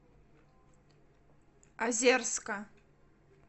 озерска